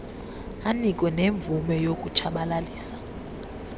anike nemvume yokutshabalalisa